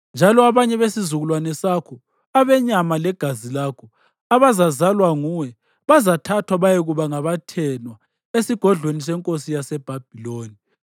Njalo abanye besizukulwane sakho, abenyama legazi lakho, abazazalwa nguwe, bazathathwa bayekuba ngabathenwa esigodlweni senkosi yaseBhabhiloni.”